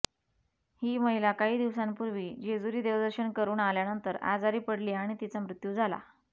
ही महिला काही दिवसांपूर्वी जेजुरी देवदर्शन करून आल्यानंतर आजारी पडली आणि तिचा मृत्यू झाला